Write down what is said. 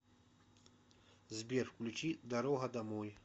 сбер включи дорога домой